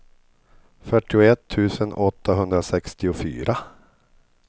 fyrtioett tusen åttahundrasextiofyra